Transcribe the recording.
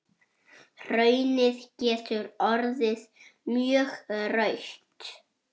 Hraunið getur orðið mjög rautt.